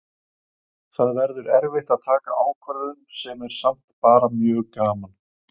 Það verður erfitt að taka ákvörðun sem er samt bara mjög gaman.